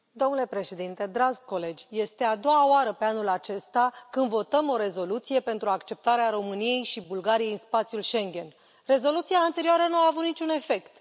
Domnule președinte, dragi colegi, este a doua oară pe anul acesta când votăm o rezoluție pentru acceptarea României și Bulgariei în spațiul Schengen. Rezoluția anterioară nu a avut niciun efect.